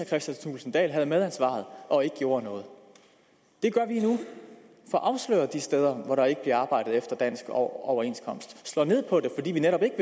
kristian thulesen dahl havde medansvaret og ikke gjorde noget det gør vi nu vi får afsløret de steder hvor der ikke bliver arbejdet efter dansk overenskomst vi slår ned på det fordi vi netop ikke